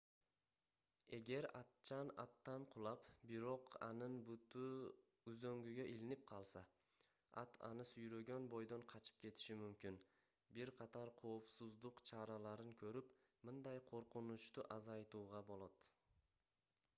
эгер атчан аттан кулап бирок анын буту үзөңгүгө илинип калса ат аны сүйрөгөн бойдон качып кетиши мүмкүн бир катар коопсуздук чараларын көрүп мындай коркунучту азайтууга болот